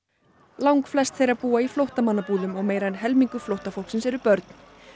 langflest þeirra búa í flóttamannabúðum og meira en helmingur flóttafólksins eru börn